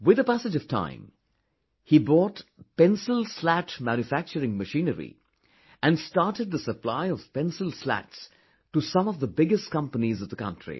With the passage of time, he bought pencil slat manufacturing machinery and started the supply of pencil slats to some of the biggest companies of the country